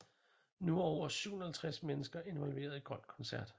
Nu er over 750 mennesker involveret i Grøn Koncert